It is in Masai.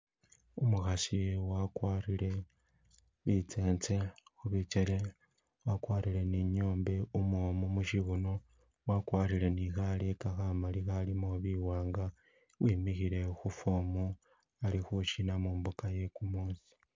Umukhasi wakwarire bitsentse khubikele, wakwarire ni nyombe umwomu musibuno, wakwarire ne khaleka khamali akhalimo biwanga, wimikhile khu form ali khu shina mumbuka iye kumuusi.